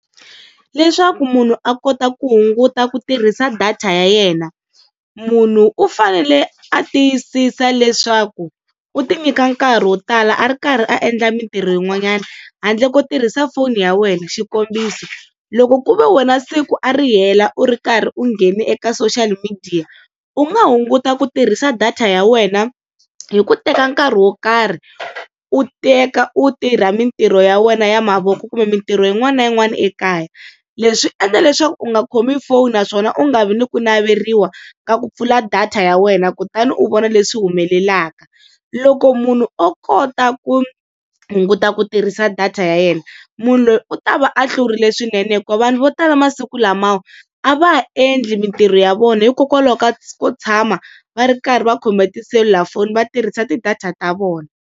Leswaku munhu a kota ku hunguta ku tirhisa data ya yena, munhu u fanele a tiyisisa leswaku u ti nyika nkarhi wo tala a ri karhi a endla mintirho yin'wanyana, handle ko tirhisa foni ya wena xikombiso loko ku ve wena siku a ri hela u ri karhi u nghene eka social media u nga hunguta ku tirhisa data ya wena hi ku teka nkarhi wo karhi u teka u tirha mintirho ya wena ya mavoko kumbe mintirho yin'wana na yin'wana ekaya. Leswi swi endla leswaku u nga khomi foni naswona u nga vi ni ku naveriwa ka ku pfula data ya wena kutani u vona leswi humelelaka. Loko munhu o kota ku hunguta ku tirhisa data ya yena munhu loyi u ta va a hlurile swinene hikuva vanhu vo tala masiku lamawa a va ha endli mintirho ya vona hikokwalaho ka ku tshama va ri karhi va khome tiselulafoni va tirhisa ti-data ta vona.